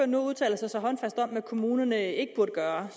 nu udtaler sig så håndfast om hvad kommunerne ikke burde gøre